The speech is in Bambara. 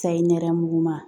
Sayi nɛrɛmuguma